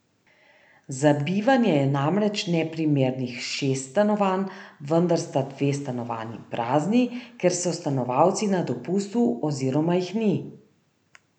Za bivanje je namreč neprimernih šest stanovanj, vendar sta dve stanovanji prazni, ker so stanovalci na dopustu oziroma jih ni.